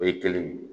O ye kelen ye